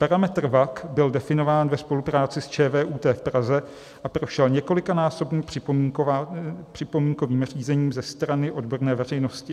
Parametr WACC byl definován ve spolupráci s ČVUT v Praze a prošel několikanásobným připomínkovým řízením ze strany odborné veřejnosti.